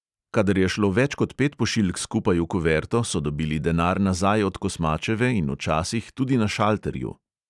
Kadar je šlo več kot pet pošiljk skupaj v kuverto, so dobili denar nazaj od kosmačeve in včasih tudi na šalterju.